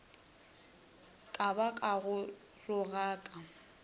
ka ba ka go rogaka